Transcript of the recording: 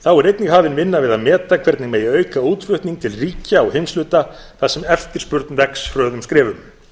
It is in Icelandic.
þá er einnig hafin vinna við að meta hvernig megi auka útflutning til ríkja og heimshluta þar sem eftirspurn vex hröðum skrefum